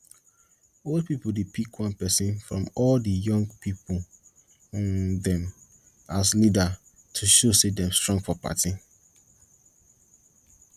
old pipo dey pick one persin from all di young pipo um dem as leader to show say dem strong for party